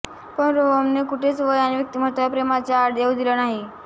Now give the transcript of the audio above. पण रोहमनने कुठेच वय आणि व्यक्तिमत्वाला प्रेमाच्या आड येऊ दिले नाही